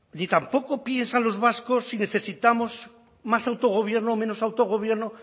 ni tampoco piensan los vascos si necesitamos más autogobierno o menos autogobierno